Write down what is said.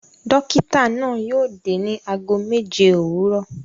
Dọ́kítá náà yóò dé ní ago méje òwúrọ̀.